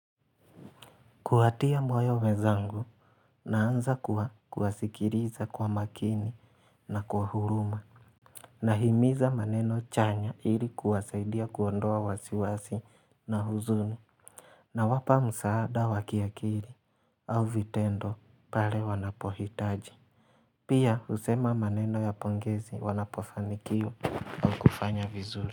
Kuwatia moyo wenzangu naanza kuwasikiliza kwa makini na kwa huruma Nahimiza maneno chanya ili kuwasaidia kuondoa wasiwasi na huzuni nawapa msaada wa kiakili au vitendo pale wanapohitaji Pia husema maneno ya pongezi wanapofanikiwa kufanya vizuri.